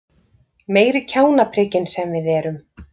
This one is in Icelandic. Meiri kjánaprikin sem við erum!